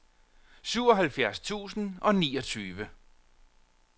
syvoghalvfjerds tusind og niogtyve